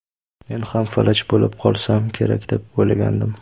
Men ham falaj bo‘lib qolsam kerak deb o‘ylagandim.